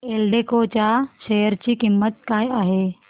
एल्डेको च्या शेअर ची किंमत काय आहे